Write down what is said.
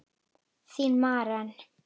Þín, Maren.